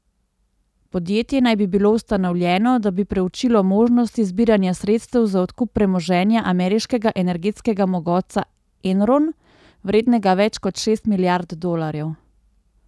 Podjetje naj bi bilo ustanovljeno, da bi preučilo možnosti zbiranja sredstev za odkup premoženja ameriškega energetskega mogotca Enron, vrednega več kot šest milijard dolarjev.